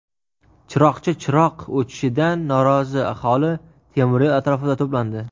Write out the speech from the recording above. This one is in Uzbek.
Chiroqchi chiroq o‘chishidan norozi aholi temiryo‘l atrofida to‘plandi.